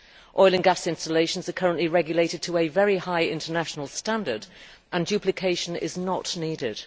Oil and gas installations are currently regulated to a very high international standard and duplication is not needed.